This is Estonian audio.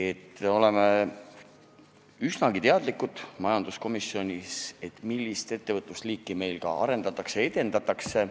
Me oleme majanduskomisjonis üsnagi teadlikud, mis liiki ettevõtlust meil arendatakse ja edendatakse.